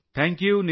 thank you